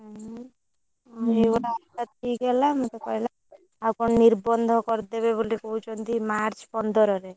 ଉଁ ହୁଁ ସେଇକଥା ତା ବାହାଘର ଠିକ ହେଲା ମତେ କହିଲା ଆଉ କଣ ନିର୍ବନ୍ଧ କରିଦେବେ ବୋଲି କହୁଛନ୍ତି March ପନ୍ଦରରେ।